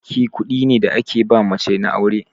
Sadaki kuɗi ne da ake ba mace na aure.